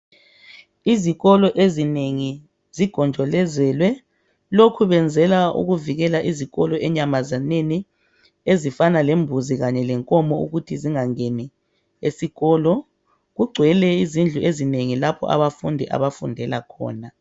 Izikolo ezinengi zigonjolozelwe lokhu benzela ukuvikela izikolo enyamazaneni ezifanana lembuzo Kanye lenkomo ukuthi zingangeni esikolo kugcwele izindlu ezinengi lapho abafundi abafundela khona